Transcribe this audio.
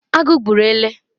agu gburu ele